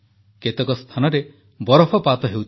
କେତେକ ସ୍ଥାନରେ ବରଫପାତ ହେଉଛି